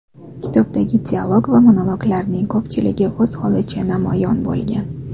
Kitobdagi dialog va monologlarning ko‘pchiligi o‘z holicha namoyon bo‘lgan.